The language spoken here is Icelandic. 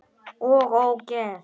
OG ÓGEÐ!